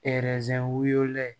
wolo la